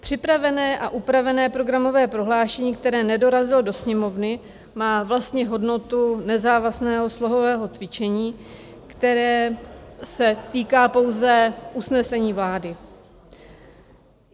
Připravené a upravené programové prohlášení, které nedorazilo do Sněmovny, má vlastně hodnotu nezávazného slohového cvičení, které se týká pouze usnesení vlády.